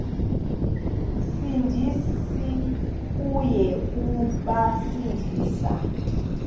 sindisi uya kubasindisa